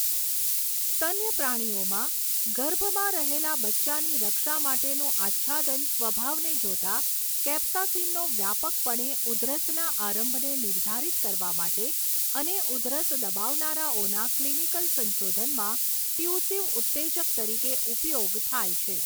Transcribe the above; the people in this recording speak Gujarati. સ્તન્ય પ્રાણીઓમાં ગર્ભમાં રહેલા બચ્ચાની રક્ષા માટેનુંં આચ્છાદન સ્વભાવને જોતાં, કેપ્સાસીનનો વ્યાપકપણે ઉધરસના આરંભને નિર્ધારિત કરવા માટે અને ઉધરસ દબાવનારાઓના ક્લિનિકલ સંશોધનમાં ટ્યુસિવ ઉત્તેજક તરીકે ઉપયોગ થાય છે.